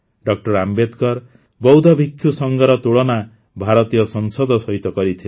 ଡ ଆମ୍ବେଦକର ବୌଦ୍ଧ ଭିକ୍ଷୁ ସଂଘର ତୁଳନା ଭାରତୀୟ ସଂସଦ ସହିତ କରିଥିଲେ